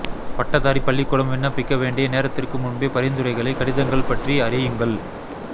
பட்டதாரி பள்ளிக்கூடம் விண்ணப்பிக்க வேண்டிய நேரத்திற்கு முன்பே பரிந்துரைகளை கடிதங்கள் பற்றி அறியுங்கள்